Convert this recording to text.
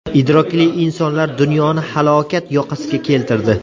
Idrokli insonlar dunyoni halokat yoqasiga keltirdi.